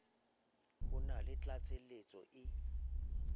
ho na le tlatseletso e